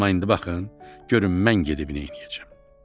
Amma indi baxın, görün mən nə edib neyniyəcəm.